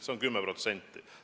Kasv on 10%.